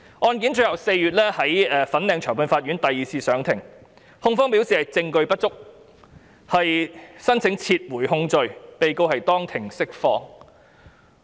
案件於4月在粉嶺裁判法院第二次審理，控方表示證據不足，申請撤回控罪，被告當庭釋放。